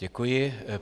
Děkuji.